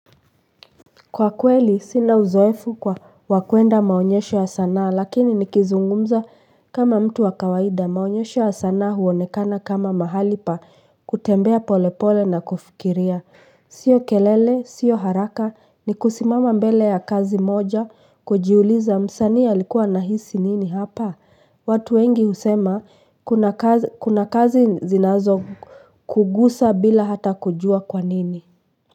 Kwa kweli sina uzoefu kwa wa kuenda maonyesho ya sanaa lakini nikizungumza kama mtu wa kawaida maonyesho ya sanaa huonekana kama mahali pa kutembea pole pole na kufikiria. Sio kelele, sio haraka ni kusimama mbele ya kazi moja kujiuliza msanii alikuwa anahisi nini hapa. Watu wengi husema kuna kazi zinazo kugusa bila hata kujua kwa nini.